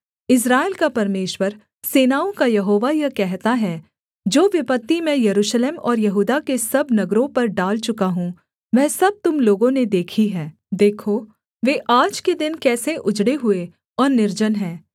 इस्राएल का परमेश्वर सेनाओं का यहोवा यह कहता है जो विपत्ति मैं यरूशलेम और यहूदा के सब नगरों पर डाल चुका हूँ वह सब तुम लोगों ने देखी है देखो वे आज के दिन कैसे उजड़े हुए और निर्जन हैं